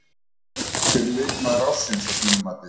Hver er leikmaður ársins að þínu mati?